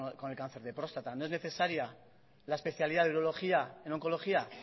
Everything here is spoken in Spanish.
con el cáncer de próstata no es necesaria la especialidad de urología en oncología